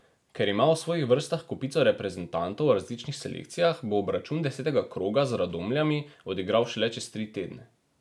Ker ima v svojih vrstah kopico reprezentantov v različnih selekcijah, bo obračun desetega kroga z Radomljami odigral šele čez tri tedne.